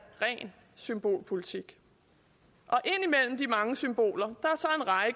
ren symbolpolitik og ind imellem de mange symboler